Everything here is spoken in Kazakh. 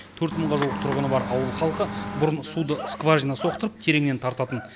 төрт мыңға жуық тұрғыны бар ауыл халқы бұрын суды скважина соқтырып тереңнен тартатын